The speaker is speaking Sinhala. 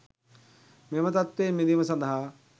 මෙම තත්ත්වයෙන් මිදීම සඳහා